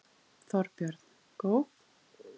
Þorbjörn: Góð?